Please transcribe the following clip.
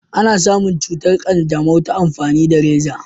ana samun cutar kyanjamau ta amfani da raza